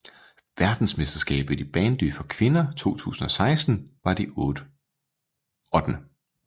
Verdensmesterskabet i bandy for kvinder 2016 var det 8